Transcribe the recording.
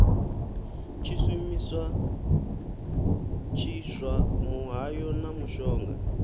tshishumisa tshiswa muhayo na mushonga